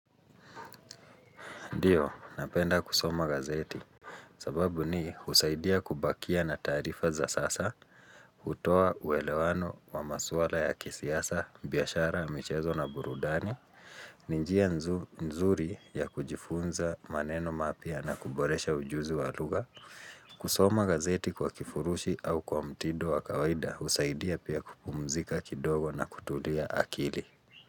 Ndiyo, napenda kusoma gazeti, sababu ni husaidia kubakia na tarifa za sasa, utoa uwelewano wa maswala ya kisiasa, biyashara, michezo na burudani, ninjia nzuri ya kujifunza maneno mapia na kuboresha ujuzi wa luga, kusoma gazeti kwa kifurushi au kwa mtido wa kawaida, husaidia pia kupumzika kidogo na kutulia akili.